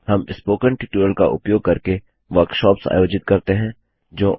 हम spoken tutorial का उपयोग करके वर्कशॉप्स कार्यशालाएँआयोजित करते हैं